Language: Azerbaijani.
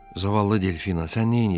Zavallı Delfina, sən neynirsən?